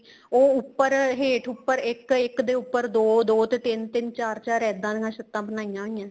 ਉਹ ਉੱਪਰ ਹੇਠ ਉੱਪਰ ਇੱਕ ਇੱਕ ਦੇ ਉੱਪਰ ਦੋ ਦੋ ਤੇ ਤਿੰਨ ਤਿੰਨ ਤੇ ਚਾਰ ਚਾਰ ਇੱਦਾਂ ਦੀਆਂ ਛੱਤਾਂ ਬਣਾਈਆਂ ਹੋਇਆ ਏ